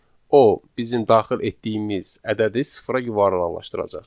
o bizim daxil etdiyimiz ədədi sıfıra yuvarlaqlaşdıracaq.